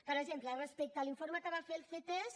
per exemple respecte a l’informe que va fer el ctesc